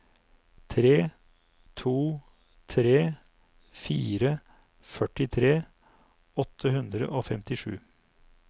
tre to tre fire førtitre åtte hundre og femtisju